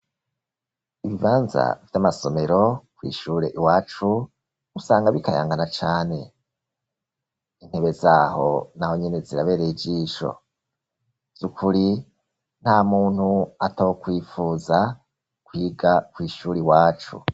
Ibibanza vy'amasomero kw'ishure iwacu, usanga bikayangana cane, intebe zaho nahonyene zirabereye ijisho, vyukuri nta muntu atokwifuza kwiga kw'ishure iwacu.